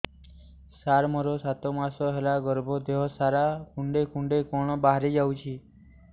ସାର ମୋର ସାତ ମାସ ହେଲା ଗର୍ଭ ଦେହ ସାରା କୁଂଡେଇ କୁଂଡେଇ କଣ ବାହାରି ଯାଉଛି